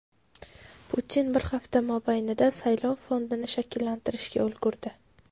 Putin bir hafta mobaynida saylov fondini shakllantirishga ulgurdi.